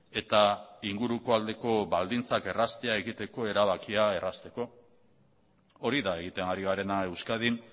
eta inguruko aldeko baldintzak erraztea egiteko erabakia errazteko hori da egiten ari garena euskadin